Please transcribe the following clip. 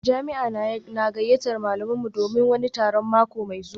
Jami'a na gayyatar malaminmu don wani taron mako mai zuwa